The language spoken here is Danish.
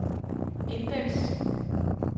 indeks